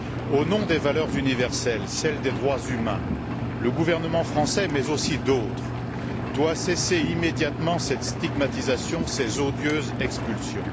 Au nom des valeurs universelles, celles des droits humains, le gouvernement français mais aussi d'autres doit cesser immédiatement cette stigmatisation et ces odieuses expulsions.